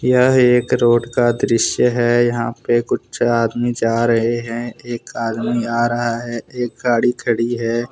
यह एक रोड का दृस्य है यहां पे कुछ आदमी जा रहे हैं। एक आदमी आ रहा है एक गाड़ी खड़ी है ।